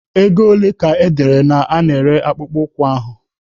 Ego ole ka edere a na-ere akpụkpọ ụkwụ ahụ?